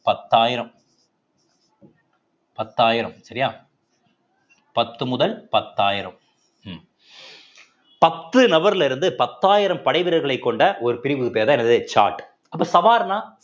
பத்தாயிரம் பத்தாயிரம் சரியா பத்து முதல் பத்தாயிரம் உம் பத்து நபர்ல இருந்து பத்தாயிரம் படை வீரர்களை கொண்ட ஒரு பிரிவுக்கு பெயர்தான் எனது ஜாட் அப்ப சவாார்னா